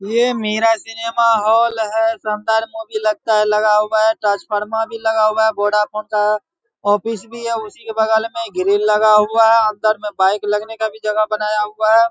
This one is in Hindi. ये मेरा सिनेमा हॉल है। संदर मूवी लगता है लगा हुआ है। ट्रांसफार्मर भी लगा हुआ है। वोडाफ़ोन का ऑफिस भी है। उसी के बगल में ग्रिल लगा हुआ है। अंदर में बाइक लगने का जगह बनाया हुआ है।